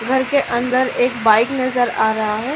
घर के अंदर एक बाईक नजर आ रहा है।